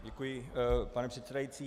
Děkuji, pane předsedající.